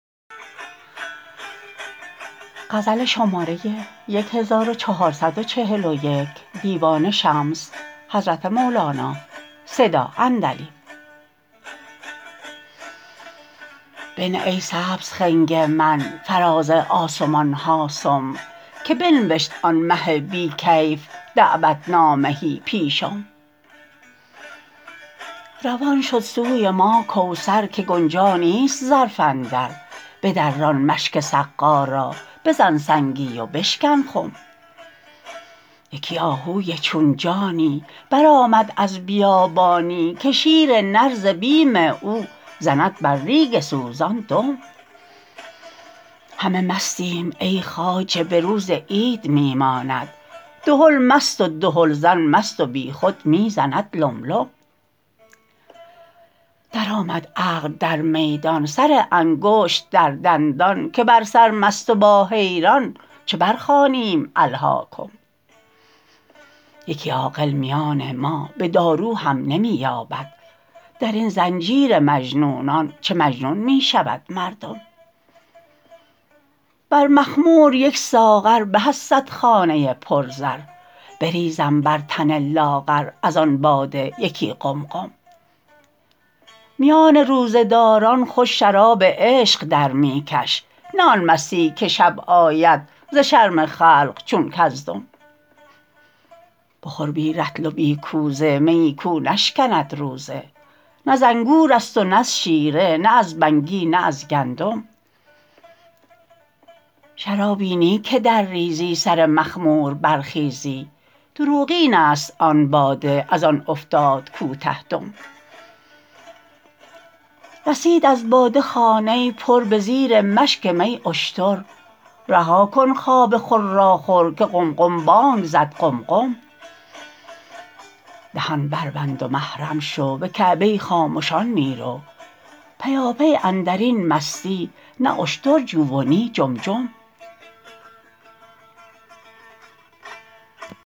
بنه ای سبز خنگ من فراز آسمان ها سم که بنوشت آن مه بی کیف دعوت نامه ای پیشم روان شد سوی ما کوثر که گنجا نیست ظرف اندر بدران مشک سقا را بزن سنگی و بشکن خم یکی آهوی چون جانی برآمد از بیابانی که شیر نر ز بیم او زند بر ریگ سوزان دم همه مستیم ای خواجه به روز عید می ماند دهل مست و دهلزن مست و بیخود می زند لم لم درآمد عقل در میدان سر انگشت در دندان که بر سرمست و با حیران چه برخوانیم الهاکم یکی عاقل میان ما به دارو هم نمی یابند در این زنجیر مجنونان چه مجنون می شود مردم بر مخمور یک ساغر به از صد خانه پرزر بریزم بر تن لاغر از آن باده یکی قمقم میان روزه داران خوش شراب عشق در می کش نه آن مستی که شب آیی ز شرم خلق چون کزدم بخور بی رطل و بی کوزه میی کو نشکند روزه نه ز انگور است و نه از شیره نه از بگنی نه از گندم شرابی نی که درریزی سر مخمور برخیزی دروغین است آن باده از آن افتاد کوته دم رسید از باده خانه پر به زیر مشک می اشتر رها کن خواب خراخر که قمقم بانگ زد قم قم دهان بربند و محرم شو به کعبه خامشان می رو پیاپی اندر این مستی نه اشتر جو و نی جم جم